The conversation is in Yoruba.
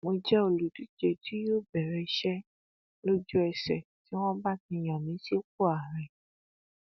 mo jẹ olùdíje tí yóò bẹrẹ iṣẹ lójúẹsẹ tí wọn bá ti yàn mí sípò ààrẹ